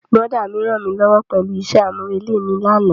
Brọ̀dá mi rànmílówó pẹ̀lú isẹ́ àmúrelé mi lánàá.